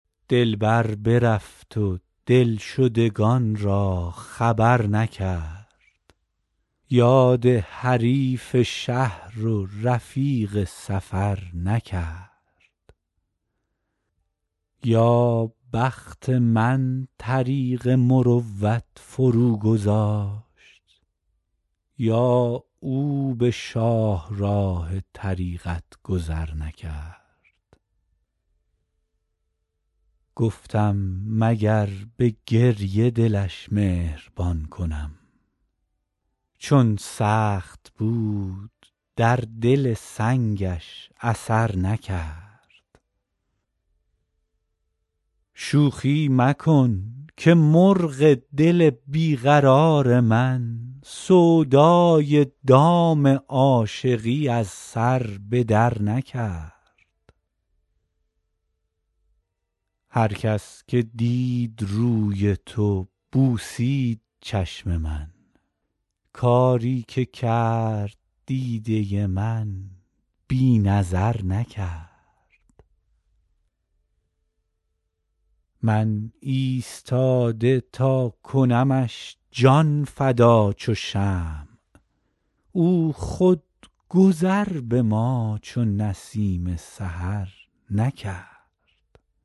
دلبر برفت و دلشدگان را خبر نکرد یاد حریف شهر و رفیق سفر نکرد یا بخت من طریق مروت فروگذاشت یا او به شاهراه طریقت گذر نکرد گفتم مگر به گریه دلش مهربان کنم چون سخت بود در دل سنگش اثر نکرد شوخی مکن که مرغ دل بی قرار من سودای دام عاشقی از سر به درنکرد هر کس که دید روی تو بوسید چشم من کاری که کرد دیده من بی نظر نکرد من ایستاده تا کنمش جان فدا چو شمع او خود گذر به ما چو نسیم سحر نکرد